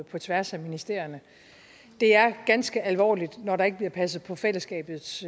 på tværs af ministerierne det er ganske alvorligt når der ikke bliver passet på fællesskabets